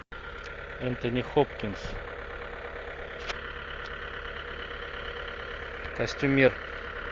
энтони хопкинс костюмер